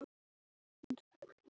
Þú varst alltaf svo flott.